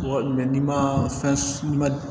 Wa n'i ma fɛn i ma